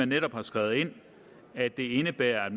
netop er skrevet ind at det indebærer at